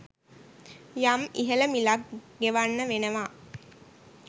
යම් ඉහළ මිලක් ගෙවන්න වෙනවා.